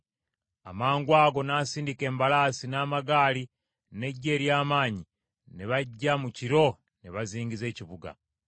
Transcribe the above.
Amangwago n’asindika embalaasi, n’amagaali, n’eggye ery’amaanyi, ne bajja mu kiro ne bazingiza ekibuga.